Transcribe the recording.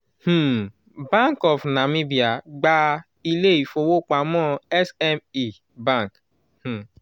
um bank of namibia gba ilé-ìfowópamọ́ sme bank um